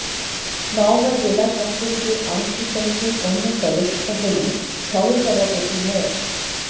নওগাঁ জেলা ছাত্রলীগের আংশিক কমিটির অন্য সদস্যরা হলেন সহসভাপতি মো